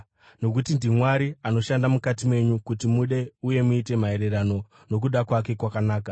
nokuti ndiMwari anoshanda mukati menyu kuti mude uye muite maererano nokuda kwake kwakanaka.